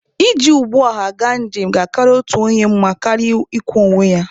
Iji ụgbọ ọha gaa njem ga-akara otu onye mma karịa ị kwọ onye ya.